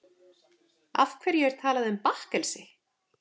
Af hverju er talað um bakkelsi?